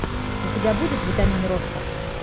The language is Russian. у тебя будет витамин роста